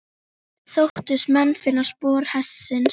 Þóttust menn finna spor hestsins.